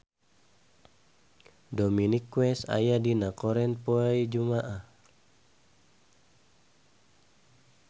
Dominic West aya dina koran poe Jumaah